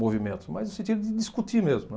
movimentos, mas no sentido de discutir mesmo, né.